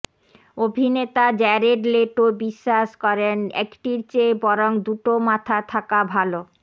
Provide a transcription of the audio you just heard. অভিনেতা Jared Leto বিশ্বাস করেন একটির চেয়ে বরং দুটো মাথা থাকা ভালো